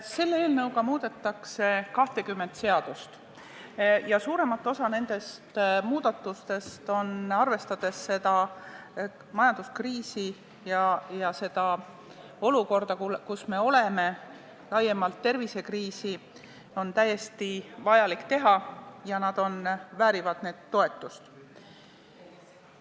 Selle eelnõuga muudetakse 20 seadust ja suuremat osa nendest muudatustest on, arvestades tervisekriisi, majanduskriisi ja üldist olukorda, kus me oleme, tõesti vaja teha ja need väärivad toetust.